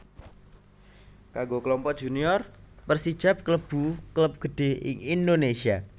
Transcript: Kanggo Klompok Junior Persijap kalebu klub gedhé ing Indonésia